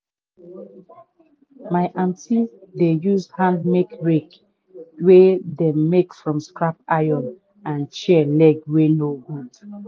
my aunty dey use handmade rake wey dem make from scrap iron and chair leg wey no good.